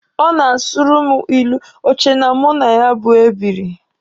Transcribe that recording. Ọ na-asụrụ mụ ilu, o che na mụ na ya bụ ebiri.